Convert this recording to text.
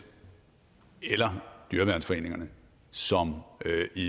eller dyreværnsforeningerne som